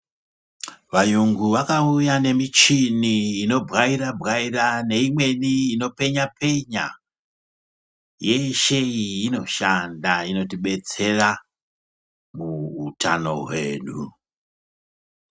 Vayungu vakauya nemichini inobwaira-bwaira neimweni inopenya-penya. Yeshe iyi inoshanda inotidetsera muhutano hwedu.